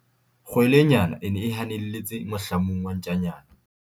kgwelenyana e ne e hanelletse mohlamung wa ntjanyana